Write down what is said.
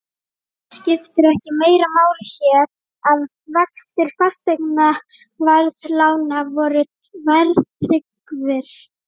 Skipti ekki meira máli hér, að vextir fasteignaveðlána voru verðtryggðir?